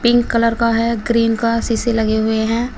Pink colour का है green का सीसे लगे हुए हैं।